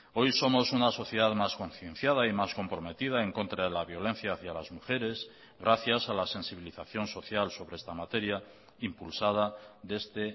hoy somos una sociedad más concienciada y más comprometida en contra de la violencia hacía las mujeres gracias a la sensibilización social sobre esta materia impulsada desde